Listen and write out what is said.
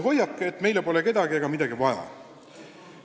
Hoiak, et meile pole kedagi ega midagi vaja, on halb.